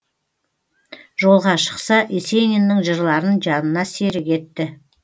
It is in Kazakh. жолға шықса есениннің жырларын жанына серік етті